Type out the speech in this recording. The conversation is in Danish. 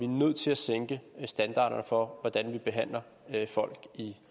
nødt til at sænke standarderne for hvordan vi behandler folk i